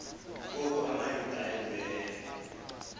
ngoku amayuda ayebuyele